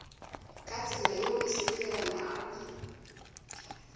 ka tsela yeo e sepelelanago